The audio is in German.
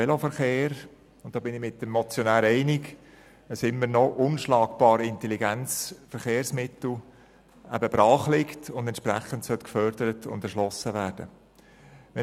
Ich bin mit dem Motionär einig, dass ein immer noch unschlagbar intelligentes Verkehrsmittel brachliegt, das entsprechend gefördert und erschlossen werden soll.